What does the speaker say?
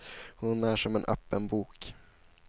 Hon är som en öppen bok.